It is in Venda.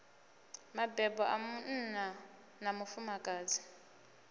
mabebo a munna na mufumakadzi